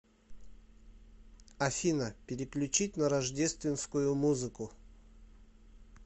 афина переключить на рождественскую музыку